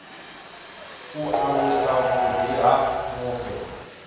u alusa vhuḓi ha mufhe